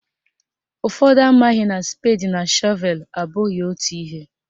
Ụfọdụ amaghị na spedi na shọvelu abụghị otu ihe